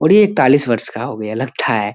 और ये एकतालिस वर्ष का हो गया लगता है।